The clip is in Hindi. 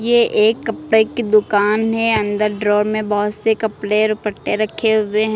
ये एक कपड़े की दुकान है अंदर ड्रोर में बहोत से कपड़े दुपट्टे रखे हुए हैं।